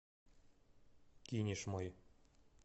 кинешмой